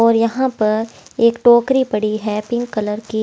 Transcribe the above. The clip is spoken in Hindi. और यहाँ पर एक टोकरी पड़ी है पिंक कलर की।